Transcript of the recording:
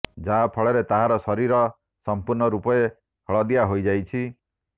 ଯାହା ଫଳରେ ତାହାର ଶରୀର ସମ୍ପୂର୍ଣ୍ଣ ରୂପରେ ହଳଦିଆ ହୋଇଯାଇଛି